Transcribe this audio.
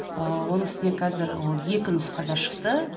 ыыы оның үстіне қазір ол екі нұсқада шықты